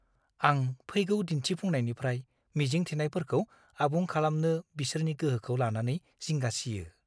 आं फैगौ दिन्थिफुंनायनिफ्राय मिजिं थिनायफोरखौ आबुं खालामनो बिसोरनि गोहोखौ लानानै जिंगासियो।